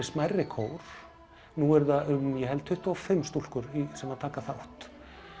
smærri kór nú eru það um tuttugu og fimm stúlkur sem taka þátt